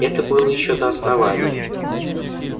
это было ещё до основания